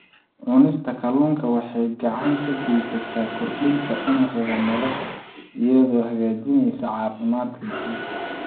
Cunista kalluunka waxay gacan ka geysataa kordhinta cimriga nolosha iyadoo hagaajinaysa caafimaadka guud.